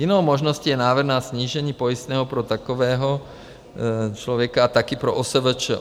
Jinou možností je návrh na snížení pojistného pro takového člověka a taky pro OSVČ.